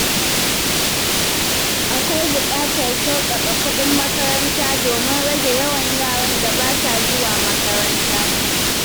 Akwai buƙatar sauƙaƙa kuɗin makaranta domin rage yawan yaran da ba sa zuwa makaranta.